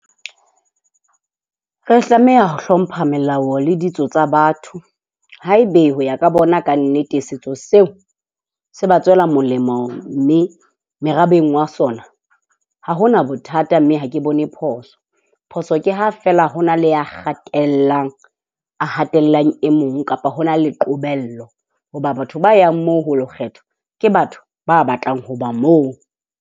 Re tlameha ho hlompha melao le ditso tsa batho. Haebe ho ya ka bona ka nnete, setso seo se ba tswela molemo, mme merabeng wa sona ha hona bothata mme ha ke bone phoso. Phoso ke ha fela ho na le ya kgatellang ya hatellang e mong kapa ho na le qobello hoba batho ba yang moo ho ilo kgetha ke batho ba batlang ho ba moo.